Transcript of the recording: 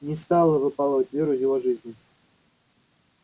не стала выпалывать веру из его жизни